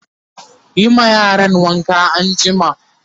Yi ma yaran wanka anjima!